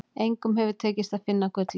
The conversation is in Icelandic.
Engum hefur tekist að finna gullið.